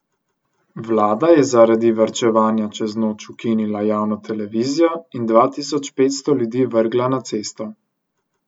Vlada je zaradi varčevanja čez noč ukinila javno televizijo in dva tisoč petsto ljudi vrgla na cesto.